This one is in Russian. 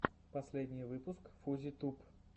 последний выпуск фузи туб